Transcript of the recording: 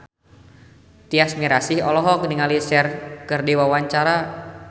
Tyas Mirasih olohok ningali Cher keur diwawancara